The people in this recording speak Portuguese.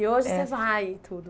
E hoje É Você vai e tudo?